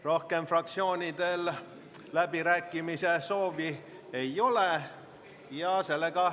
Rohkem fraktsioonidel läbirääkimiste soovi ei ole.